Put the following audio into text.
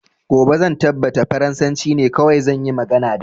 Gobe zan tabbata farasanci ne kawai zan yi magana da